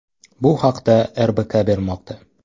Bu haqda “RBK” bermoqda .